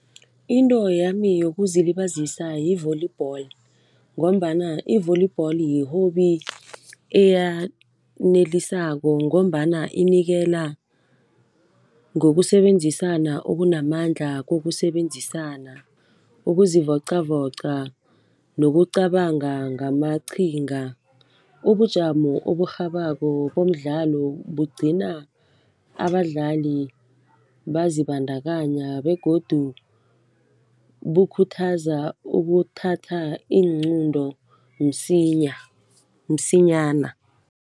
Into yami yokuzilibazisa yi-volleyball ngombana i-volleyball yi-hobby eyanelisako ngombana inikela ngokusebenzisana okunamandla, kokusebenzisana. Ukuzivocavoca nokucabanga ngamaqhinga, ubujamo oburhabako bomdlalo bugcina abadlali bazibandakanya begodu bukhuthaza ukuthatha iinqunto msinyana.